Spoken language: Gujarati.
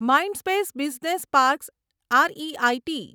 Mindspace business parks R E I T